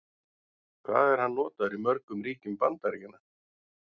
Hvað er hann notaður í mörgum ríkjum Bandaríkjanna?